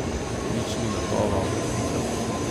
Nič ni gotovo, pika.